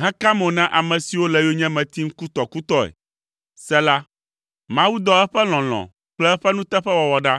heka mo na ame siwo le yonyeme tim kutɔkutɔe. Sela Mawu dɔ eƒe lɔlɔ̃ kple eƒe nuteƒewɔwɔ ɖa.